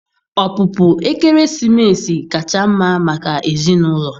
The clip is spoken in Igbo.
Ọpụpụ ekeresimesi kacha mma maka ezinụlọ.